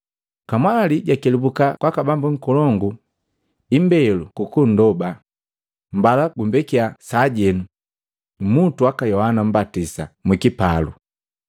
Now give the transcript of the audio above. Kamwali jakelubuka kwaka bambu nkolongu imbelo kukundoba, “Mbala gumbekya sajenu, mmutu waka Yohana Mmbatisa mwikipalu.”